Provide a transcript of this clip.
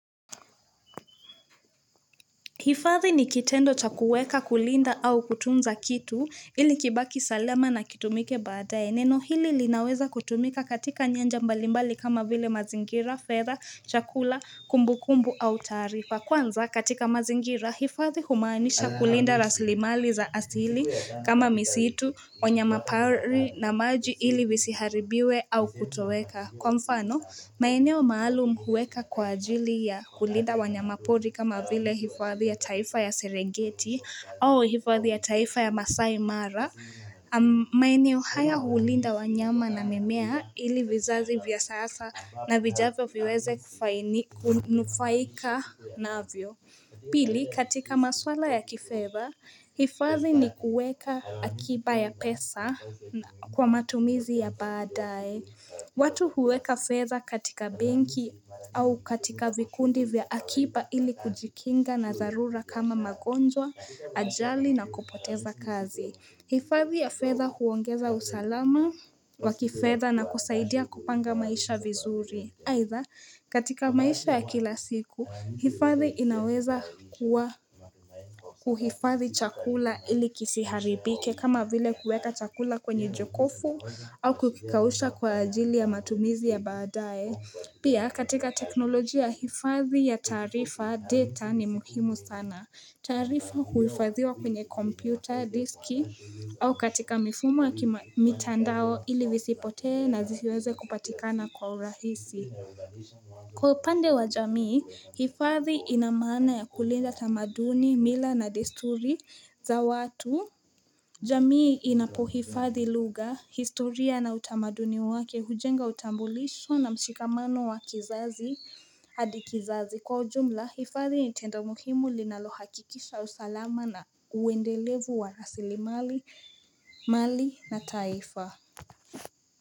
Hifadhi ni kitendo cha kuweka kulinda au kutunza kitu ili kibaki salama na kitumike badai. Neno hili linaweza kutumika katika nyanja mbalimbali kama vile mazingira, fedha, chakula, kumbu kumbu au tarifa. Kwanza, katika mazingira, hifadhi humanisha kulinda raslimali za asili kama misitu, wanyama pari na maji ili visiharibiwe au kutoweka. Kwa mfano, maeneo maalum huweka kwa ajili ya kulinda wanyama pori kama vile hifadhi ya taifa ya serengeti au hifadhi ya taifa ya masai mara. Maeneo haya hulinda wanyama na mimea ili vizazi vya sasa na vijavyo viweze kunufaika navyo Pili katika maswala ya kifedha, hifadhi ni kuweka akiba ya pesa kwa matumizi ya baadae watu huweka fedha katika benki au katika vikundi vya akiba ili kujikinga na darura kama magonjwa, ajali na kupoteza kazi hifadhi ya fedha huongeza usalama wakifedha na kusaidia kupanga maisha vizuri. Aitha, katika maisha ya kila siku, hifadhi inaweza kuwa kuhifadhi chakula ili kisiharibike kama vile kuweka chakula kwenye jokofu au kukikausha kwa ajili ya matumizi ya badae. Pia katika teknolojia hifadhi ya tarifa data ni muhimu sana. Tarifa huifadhiwa kwenye kompyuta, diski au katika mifumo kima mitandao ili visipote na zisiweze kupatikana kwa urahisi. Kwa upande wa jamii, hifadhi inamana ya kulinda tamaduni, mila na desturi za watu jamii inapohifadhi luga, historia na utamaduni wake, hujenga utambulisho na mshikamano wa kizazi hadi kizazi Kwa ujumla, hifadhi ni tendo muhimu linalohakikisha usalama na uwendelevu wa rasili mali na taifa.